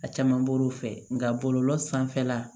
A caman bɔr'o fɛ nka bɔlɔlɔ sanfɛla